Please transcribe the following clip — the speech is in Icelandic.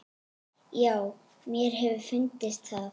Já, mér hefur fundist það.